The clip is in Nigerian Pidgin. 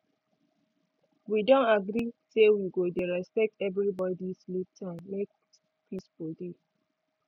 wi don agree say we go dey respect everi body sleep time make peace for dey